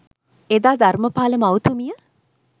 එදා ධර්‍මපාල මව් තුමිය